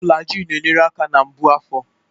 Flaji na-enyere aka na mgbu afọ.